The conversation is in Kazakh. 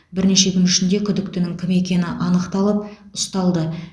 бірнеше күн ішінде күдіктінің кім екені анықталып ұсталды